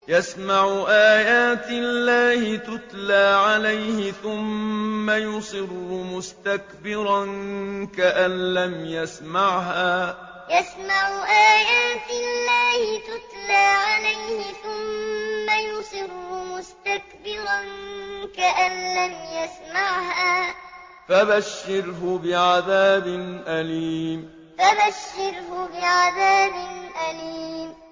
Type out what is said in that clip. يَسْمَعُ آيَاتِ اللَّهِ تُتْلَىٰ عَلَيْهِ ثُمَّ يُصِرُّ مُسْتَكْبِرًا كَأَن لَّمْ يَسْمَعْهَا ۖ فَبَشِّرْهُ بِعَذَابٍ أَلِيمٍ يَسْمَعُ آيَاتِ اللَّهِ تُتْلَىٰ عَلَيْهِ ثُمَّ يُصِرُّ مُسْتَكْبِرًا كَأَن لَّمْ يَسْمَعْهَا ۖ فَبَشِّرْهُ بِعَذَابٍ أَلِيمٍ